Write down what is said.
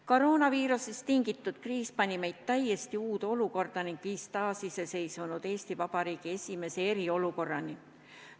Koroonaviirusest tingitud kriis pani meid täiesti uude olukorda ning viis taasiseseisvunud Eesti Vabariigi esimese eriolukorrani.